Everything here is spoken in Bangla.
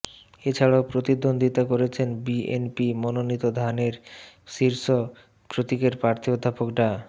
এছাড়াও প্রতিদ্বন্দ্বিতা করছেন বিএনপি মনোনীত ধানের শীষ প্রতীকের প্রার্থী অধ্যাপক ডা